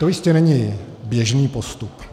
To jistě není běžný postup.